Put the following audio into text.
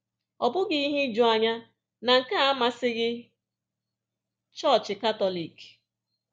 Ọ bụghị ihe ijuanya na nke a amasịghị Chọọchị Katọlik.